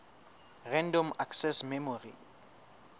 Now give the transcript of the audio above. random access memory